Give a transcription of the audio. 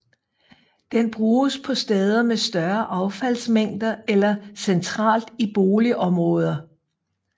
Den bruges på steder med større affaldsmængder eller centralt i boligområder